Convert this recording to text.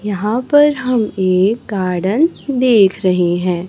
यहां पर हम एक गार्डन देख रहे हैं।